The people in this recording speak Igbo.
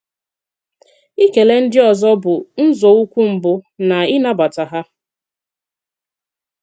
Ìkele ndị ọzọ́ bụ́ nzọụkwụ́ mbụ́ n’ị̀nabata ha.